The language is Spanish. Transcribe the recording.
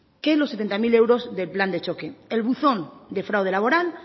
que los setenta mil euros del plan de choque el buzón de fraude laboral